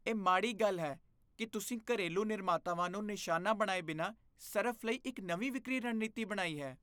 ਇਹ ਮਾੜੀ ਗੱਲ ਹੈ ਕਿ ਤੁਸੀਂ ਘਰੇਲੂ ਨਿਰਮਾਤਾਵਾਂ ਨੂੰ ਨਿਸ਼ਾਨਾ ਬਣਾਏ ਬਿਨਾਂ ਸਰਫ਼ ਲਈ ਇੱਕ ਨਵੀਂ ਵਿਕਰੀ ਰਣਨੀਤੀ ਬਣਾਈ ਹੈ।